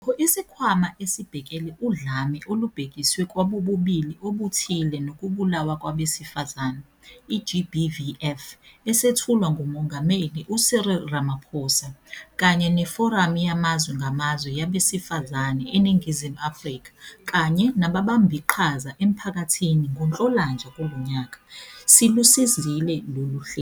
Nokho, iSikhwama Esibhekele Udlame Olubhekiswe kwabobulili Obuthile Nokubulawa Kwabesifazane, i-GBVF, esethulwa nguMongameli u-Cyril Ramaphosa, kanye neForamu Yamazwe Ngamazwe Yabesifazane eNingizimu Afrika kanye nababambiqhaza emphakathini ngoNhlolanja kulo nyaka, silusizile lolu hlelo.